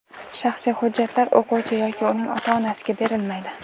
Shaxsiy hujjatlar o‘quvchi yoki uning ota-onasiga berilmaydi.